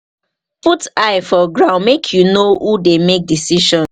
put eye for ground make you know who dey make decision